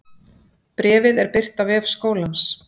Bréfið er birt á vef skólans